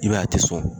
I b'a ye a tɛ sɔn